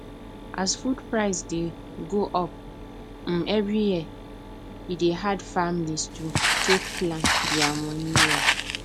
as food price dey go up um every year e dey hard families to take plan their money well